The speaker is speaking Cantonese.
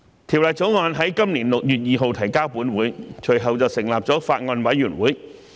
《條例草案》在今年6月2日提交本會，隨後成立了法案委員會。